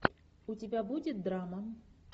у тебя будет драма